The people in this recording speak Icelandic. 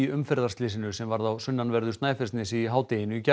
umferðarslysi sem varð á sunnanverðu Snæfellsnesi í hádeginu í gær